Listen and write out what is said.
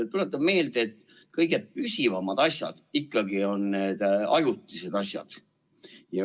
Tuletan meelde, et kõige püsivamad asjad ikkagi on need ajutised asjad.